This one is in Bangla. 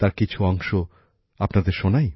তার কিছু অংশ আপনাদের শোনাই